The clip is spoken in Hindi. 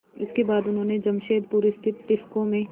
इसके बाद उन्होंने जमशेदपुर स्थित टिस्को में